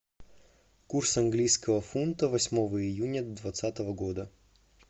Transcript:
курс английского фунта восьмого июня двадцатого года